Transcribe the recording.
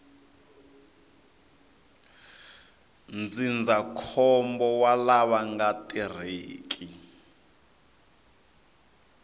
ndzindzakhombo wa lava nga tirheki